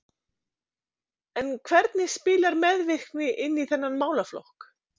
En hvernig spilar meðvirkni inn í þennan málaflokk?